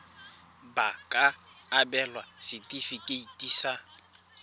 ba ka abelwa setefikeiti sa